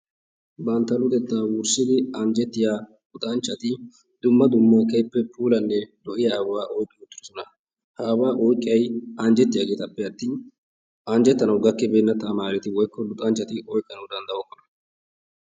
Bantta luxettaa wurssidi anjjettiya luxanchchati dumma dummanne keehippe puulattida ababaa oyiqqi uttidosona. Ha ababaa oyiqqiyayi anjjettiyaageetappe attin anjjettanawu gakkibeenna taamaareti woyikko luxanchchati oyikkanawu danddayokkona.